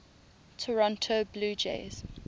toronto blue jays